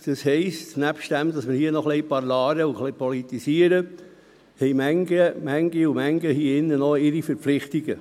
Das heisst, nebst dem, dass wir hier ein wenig «parlare» und politisieren, haben manche noch ihre Verpflichtungen.